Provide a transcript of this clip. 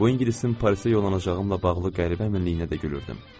Bu ingilisin Parisə yollanacağım ilə bağlı qəribə əminliyinə də gülürdüm.